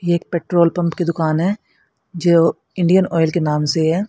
ये एक petrol pump की दुकान है जो इंडियन ऑयल के नाम से है।